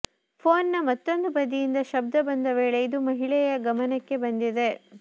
phone ನ ಮತ್ತೊಂದು ಬದಿಯಿಂದ ಶಬ್ಧ ಬಂದ ವೇಳೆ ಇದು ಮಹಿಳೆಯ ಗಮನಕ್ಕೆ ಬಂದಿದೆ